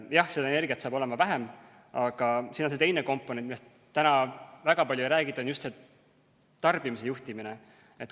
Jah, energiat on sel juhul vähem, aga siin on teine komponent, millest väga palju ei räägita, nimelt tarbimise juhtimine.